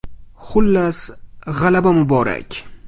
Xullas, g‘alaba muborak!